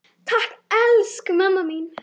Takk, elsku mamma mín.